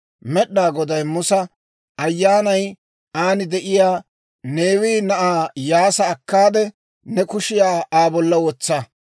Med'inaa Goday Musa, «Ayyaanay aan de'iyaa Neewe na'aa Iyyaasa akkaade, ne kushiyaa Aa bolla wotsa;